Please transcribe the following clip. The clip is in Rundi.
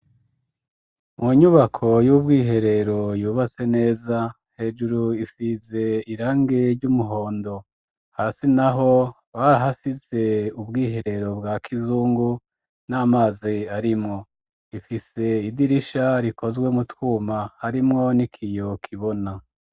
Mu nyubako, y'ubwiherero, yubatse neza; hejuru, isize irangi ry'umuhondo, hasi naho, barahasize ubwiherero, bwa kizungu, n'amazi arimwo; ifise idirisha, rikozwe mu twuma, harimwo n'ikiyo kibona.